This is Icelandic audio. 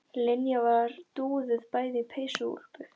Linja var dúðuð bæði í peysu og úlpu.